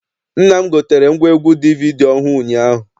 Nna m gotere ngwaegwu DVD ọhụụ ụnyaahụ.